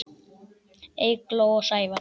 Eygló og Sævar.